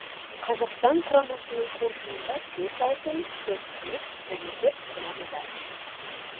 қазақстан құрамасының қоржынында төрт алтын төрт күміс және төрт қола медаль